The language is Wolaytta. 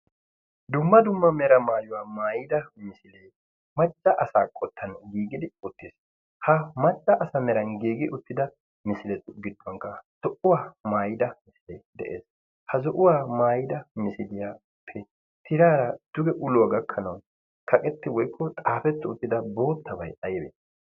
dumma dumma mera maayuwaa maayida misilee macca asaa qottan giigidi uttiis ha macca asa meran giigi uttida misiletu gidduwankka zo77uwaa maayida misilee de7ees ha zo7uwaa maayida misiliyaappe tiraara tuge uluwaa gakkanau kaqetti woikko xaafetti uttida boottabai aibee